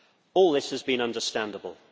All this has been understandable.